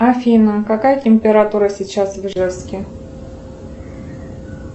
афина какая температура сейчас в ижевске